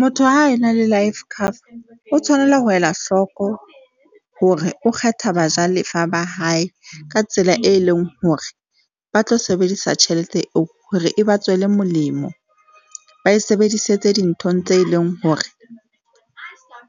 Motho ha e na le life cover, o tshwanela ho ela hloko hore o kgetha bajalefa ba hae ka tsela e leng hore ba tlo sebedisa tjhelete eo hore e ba tswele molemo. Ba e sebedisetse dinthong tse leng hore